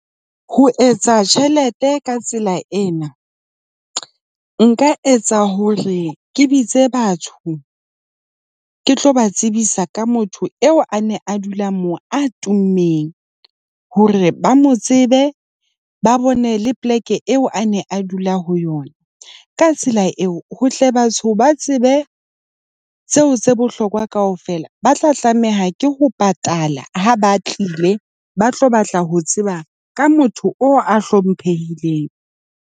Ho etsa tjhelete ka tsela ena, nka etsa hore ke bitse batho, ke tlo ba tsebisa ka motho eo a neng a dula mo a tummeng hore ba mo tsebe ba bone le poleke eo a ne a dula ho yona. Ka tsela eo, ho hle batho ba tsebe tseo tse bohlokwa kaofela ba tla tlameha ke ho patala ha ba tlile ba tlo batla ho tseba ka motho oo a hlomphehileng.